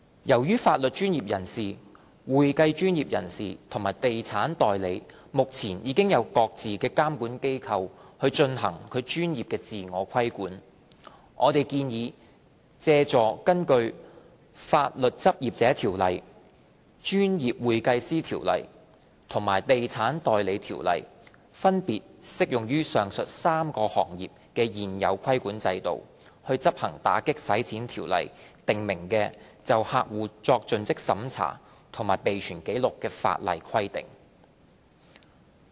由於法律專業人士、會計專業人士和地產代理目前已經由各自的監管機構進行專業自我規管，我們建議借助根據《法律執業者條例》、《專業會計師條例》和《地產代理條例》分別適用於上述3個行業的現有規管制度，執行《條例》訂明的就客戶作盡職審查及備存紀錄的法例規定。